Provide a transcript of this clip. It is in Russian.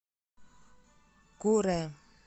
куре